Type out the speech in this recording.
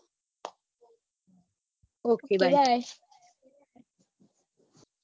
okay bye